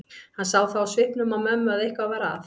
Hann sá það á svipnum á mömmu að eitthvað var að.